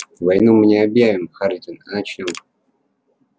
войну мы не объявим хардин а начнём